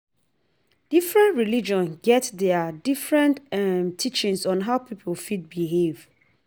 Different religion get their different um teachings on how pipo fit behave